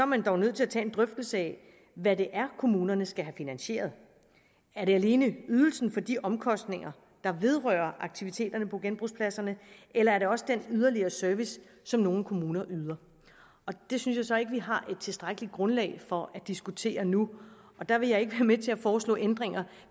man dog nødt til at tage en drøftelse af hvad det er kommunerne skal have finansieret er det alene ydelsen for de omkostninger der vedrører aktiviteterne på genbrugspladserne eller er det også den yderligere service som nogle kommuner yder det synes jeg så ikke vi har et tilstrækkeligt grundlag for at diskutere nu der vil jeg ikke være med til at foreslå ændringer